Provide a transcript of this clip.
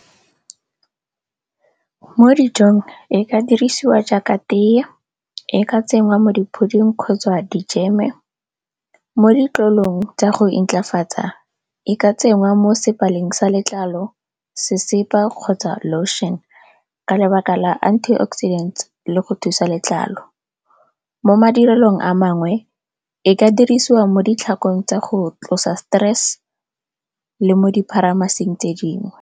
Mo dijong e ka dirisiwa jaaka tee, e ka tsengwa mo di-pudding kgotsa di-jam-e, mo ditlolong tsa go intlafatsa, e ka tsengwa mo sa letlalo. Sesepa kgotsa lotion ka lebaka la antioxidants le go thusa letlalo. Mo madirelong a mangwe e ka dirisiwa mo ditlhakong tsa go tlosa stress le mo di pharamaseng tse dingwe.